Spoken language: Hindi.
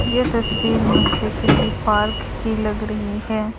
यह तस्वीर मुझे किसी पार्क की लग रही है।